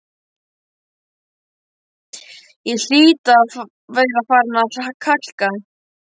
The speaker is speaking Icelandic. Ég hlýt að vera farin að kalka,